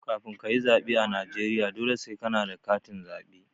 Kafin kayi tsaɓe a Najeriya, dole sai kana da katin zaɓe.